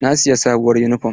Na siyi sabuwar yunifom.